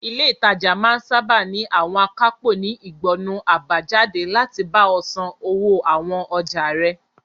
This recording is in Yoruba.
Ilé ìtajà máa sáábà ní àwọn akápò ní ìgbọnnu àbájáde láti bá ọ san owó àwọn ọjà rẹ.